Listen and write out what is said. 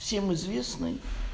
всем известный